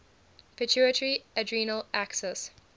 pituitary adrenal axis